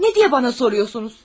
Nə deyə bana soruyorsunuz?